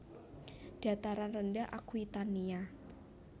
Dataran rendah Aquitania